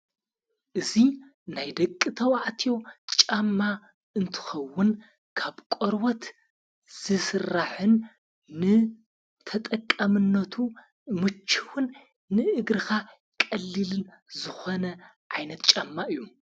እዙይ ናይ ደቂ ተውዕት ጫማ እንትኸውን ካብ ቈርወት ዝስራሕን ንተጠቀምነቱ ምችኹን ንእግርኻ ቀሊልን ዝኾነ ኣይነት ጫማ እዩ።